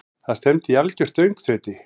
Það stefndi í algjört öngþveiti.